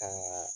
Kaa